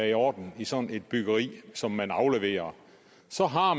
i orden i sådan et byggeri som man afleverer så har